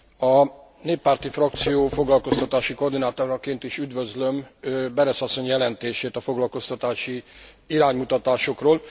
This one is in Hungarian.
A néppárti frakció foglalkoztatási koordinátoraként is üdvözlöm Berès asszony jelentését a foglalkoztatási iránymutatásokról.